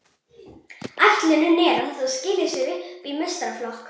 Ætlunin er að þetta skili sér upp í meistaraflokk.